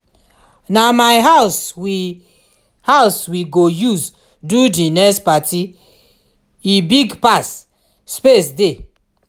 na my house we house we go use do di next party e big pass space dey